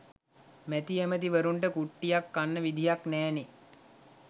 මැති ඇමති වරුන්ට කුට්ටියක් කන්න විදිහක් නැහැනෙ